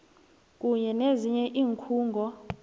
kunye nezinye iinkhungo